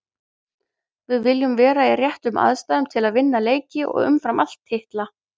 Við viljum vera í réttum aðstæðum til að vinna leiki og umfram allt titla.